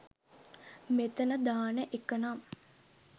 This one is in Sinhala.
මෙතන දාන එකනම්